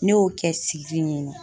Ne y'o kɛ sigili ɲeɲe.